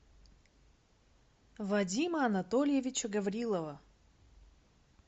вадима анатольевича гаврилова